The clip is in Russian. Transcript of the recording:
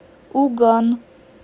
уган